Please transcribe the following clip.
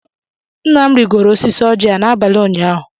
Nna m rigoro osisi Ọjị a n'abalị ụnyaahụ